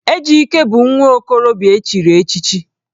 Ejike bụ nwa okorobịa e chiri echichi